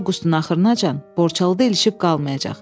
Daha Avqustun axırınacan Borçalıda ilişib qalmayacaq.